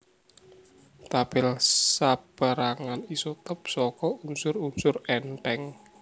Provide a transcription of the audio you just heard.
Tabèl sapérangan isotop saka unsur unsur èntheng